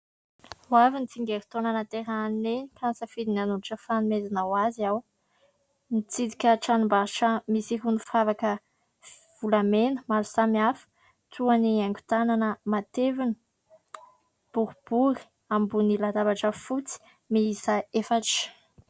Ho avy ny tsingerin-taona nahaterahan'i Neny ka nisafidy ny hanolotra fanomezana ho azy aho. Nitsidika tranombarotra misy irony firavaka volamena maro samihafa toa ny haingo tanana matevina, boribory, ambony latabatra fotsy, miisa efatra.